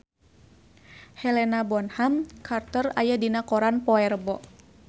Helena Bonham Carter aya dina koran poe Rebo